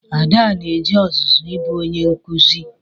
Ada na-eje ọzụzụ ịbụ onye nkụzi.